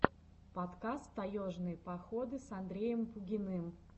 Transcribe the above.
подкаст таежные походы с андреем пугиным